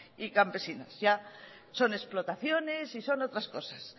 y campesinas ya son explotaciones y son otras cosas